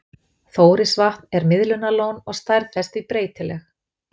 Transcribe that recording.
Þórisvatn er miðlunarlón og stærð þess því breytileg.